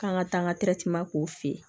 K'an ka taa n ka k'o fɛ yen